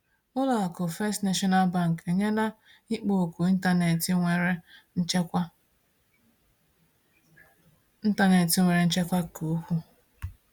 Ụlọ akụ First National Bank enyela ikpo okwu ịntanetị nwere nchekwa ịntanetị nwere nchekwa ka ukwuu.